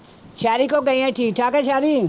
ਸੈਰੀ ਕੋਲ ਗਈ ਆਂ ਠੀਕ ਠਾਕ ਆ ਸੈਰੀ?